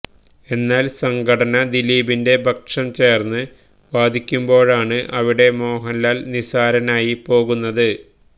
എന്നാല് സംഘടന ദിലീപിന്റെ പക്ഷം ചേര്ന്ന് വാദിക്കുമ്പോഴാണ് അവിടെ മോഹന്ലാല് നിസ്സാരനായി പോകുന്നത്